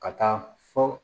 Ka taa fɔ